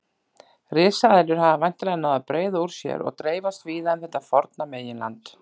Risaeðlur hafa væntanlega náð að breiða úr sér og dreifast víða um þetta forna meginland.